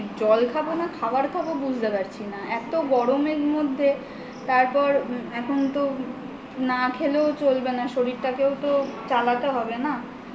জল খাব না খাবার খাব বুঝতে পারছি না এত গরমের মধ্যে তারপর এখন তো না খেলেও চলবে না শরীরটাকেও তো চালাতে হবে না